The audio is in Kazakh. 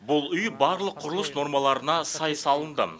бұл үй барлық құрылыс нормасына сай салынды